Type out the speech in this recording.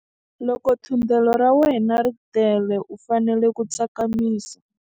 Loko thundelo ra wena ri tele u fanele ku tsakamisa.